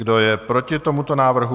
Kdo je proti tomuto návrhu?